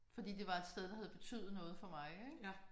Fordi det var et sted der havde betydet noget for mig ik